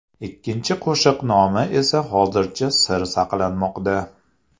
Ikkinchi qo‘shiq nomi esa hozircha sir saqlanmoqda.